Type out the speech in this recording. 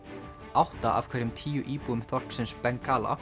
átta af hverjum tíu íbúum þorpsins